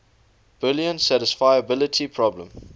boolean satisfiability problem